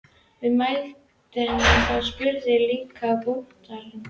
Er viðmælandinn þá spurður: Líka bútarnir?